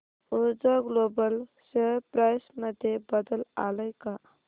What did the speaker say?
ऊर्जा global share price मध्ये बदल आलाय का